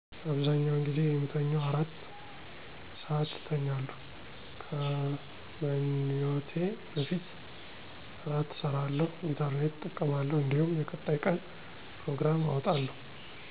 አብዛኛውን ጊዜ የምተኘው አራት (4) ሰአት እተኛለሁ። ከመኛቴ በፊት እራት እሰራለሁ፣ ኢንተረኔት እጠቀማለሁ እንዲሁም የቀጣይ ቀን ጵሮግራም አወጣለሁ።